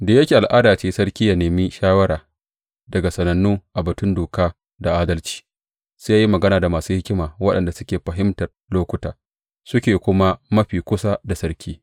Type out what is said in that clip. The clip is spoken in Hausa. Da yake, al’ada ce sarki yă nemi shawara daga sanannu a batun doka da adalci, sai ya yi magana da masu hikima waɗanda suke fahimtar lokuta suke kuma mafi kusa da sarki.